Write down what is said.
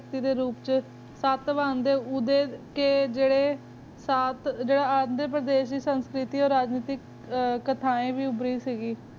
ਸ ਬੰਦੇ ਉਡੇ ਕ ਜਾਰੀ ਤ੍ਤ੍ਰਾਬ੍ਤ ਜਾਰੀ ਅੰਦਰੇ ਪਰਦੇਸ਼ ਦੀ ਸੰਸ੍ਕਿਰਿਟੀ ਓ ਦੀ ਕਠੈਨ ਵੀ ਉਬਰੀ ਸੀ ਗੀ